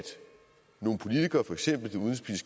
nogle politikere for eksempel